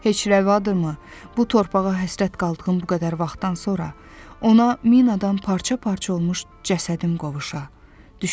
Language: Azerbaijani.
Heç rəvadırmı, bu torpağa həsrət qaldığım bu qədər vaxtdan sonra ona min adam parça-parça olmuş cəsədim qovuşa?